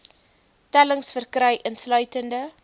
tellings verkry insluitende